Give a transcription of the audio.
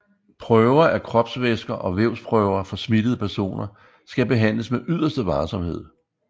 Prøver af kropsvæsker og vævsprøver fra smittede personer skal behandles med yderste varsomhed